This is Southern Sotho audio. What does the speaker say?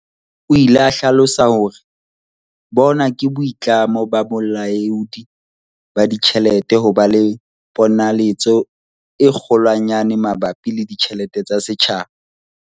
O ile a hlalosa hore, "Bona ke boitlamo ba Bolaodi ba Ditjhelete ho ba le ponaletso e kgolwanyane mabapi le ditjhelete tsa setjhaba."